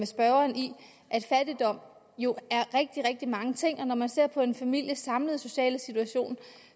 spørgeren i at fattigdom jo er rigtig rigtig mange ting og når man ser på en families samlede sociale situation